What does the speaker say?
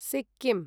Sikkim